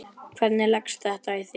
Hvernig leggst þetta í þig?